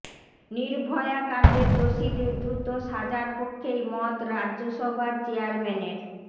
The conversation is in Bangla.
নির্ভয়া কাণ্ডের দোষীদের দ্রুত সাজার পক্ষেই মত রাজ্যসভার চেয়ারম্যানের